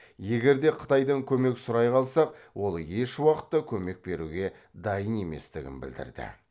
егер де қытайдан көмек сұрай қалсақ ол ешуақытта көмек беруге дайын еместігін білдірді